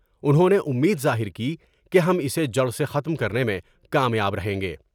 انہوں نے امید ظاہر کی کہ ہم اسے جڑ سے ختم کرنے میں کامیاب رہیں گے ۔